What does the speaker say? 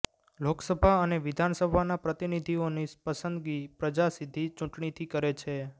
લોકસભા અને વિધાનસભાના પ્રતિનિધિઓની પસંદગી પ્રજા સીધી ચૂંટણીથી કરે છે